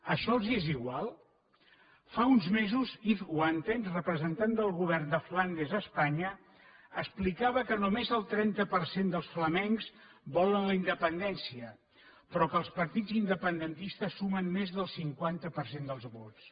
això els és igual fa uns mesos yves wantens representant del govern de flandes a espanya explicava que només el trenta per cent dels flamencs volen la independència però que els partits independentistes sumen més del cinquanta per cent dels vots